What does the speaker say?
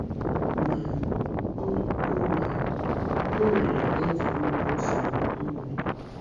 Ma, o Ma, o nwere otu nnukwu nsogbu m nwere.